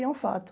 E é um fato.